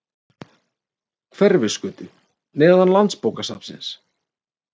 Hverfisgötu, neðan landsbókasafnsins.